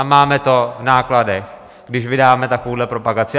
A máme to v nákladech, když vydáme takovouhle propagaci.